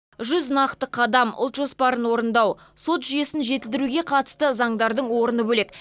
жүз нақты қадам ұлт жоспарын орындау сот жүйесін жетілдіруге қатысты заңдардың орны бөлек